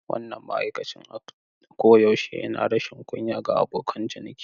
Wannan ma'aikacin a can koyaushe yana rashin kunya ga abokan ciniki.